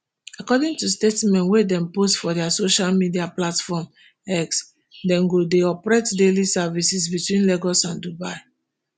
according to statement wey dem post for dia social media platform x dem go dey operate daily services between lagos and dubai